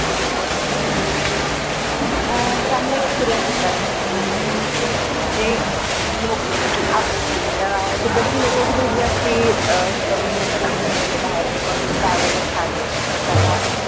अं चांगला experience होता म्हनजे लोक तिथले आप अं तिकडची लोक खूप जास्ती अं हे करून देतात आपल्याला म्हनजे बाहेरचे कोनी travelers आले तर त्यांना